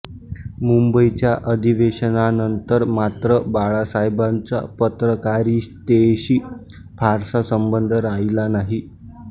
मुंबईच्या अधिवेशनानंतर मात्र बाळासाहेबांचा पत्रकारितेशी फारसा संबंध राहिला नाही